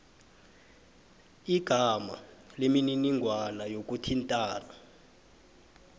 igama nemininingwana yokuthintana